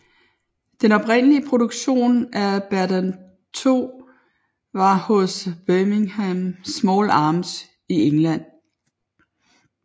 Den oprindelige produktion af Berdan II var hos Birmingham Small Arms i England